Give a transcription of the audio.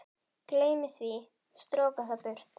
Gleymi því, stroka það burt.